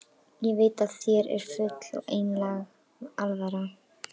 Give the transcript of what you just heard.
Ég veit að þér er full og einlæg alvara.